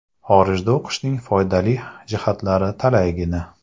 Xorijda o‘qishning foydali jihatlari talaygina.